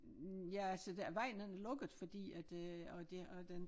Ja altså det vejen den er lukket fordi at øh og det og den